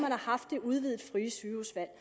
har haft det udvidede frie sygehusvalg